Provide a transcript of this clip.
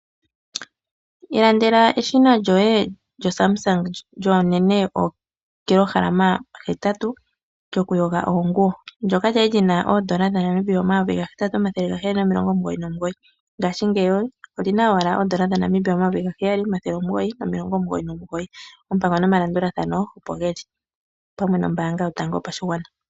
Iilandela eshina lyoye lyo Sumsung lyuunene woo kg 8, lyokuyoga oonguwo. Ndyoka lya li lyina oondola dhaNamibia 8799 ngashingeyi olyina owala oondola dhaNamibia 7999. Oompango nomalandulathano opo geli pamwe nombaanga yotango yopashigwana.